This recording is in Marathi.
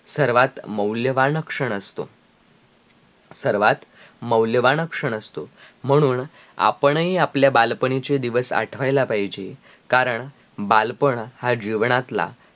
सर्वात मौल्यवान लक्षण असतो सर्वात मौल्यवान लक्षण असतो म्हणून आपण हि आपल्या बालपणीचे दिवस आठवल्या पाहिजे, कारण बालपण हा जीवनातला